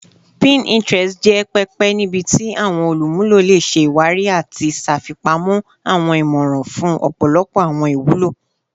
Pinterest jẹ pẹpẹ nibiti awọn olumulo le ṣe iwari ati ṣafipamọ awọn imọran fun ọpọlọpọ awọn iwulo